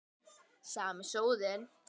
Sami sóðinn.